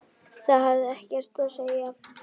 Það hafði ekkert að segja.